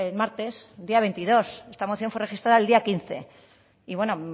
martes día veintidós esta moción fue registrada el día quince y bueno